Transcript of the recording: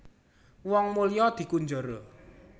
Wong mulya dikunjara